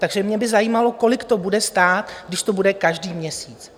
Takže mě by zajímalo, kolik to bude stát, když to bude každý měsíc.